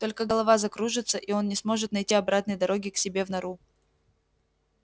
только голова закружится и он не сможет найти обратной дороги к себе в нору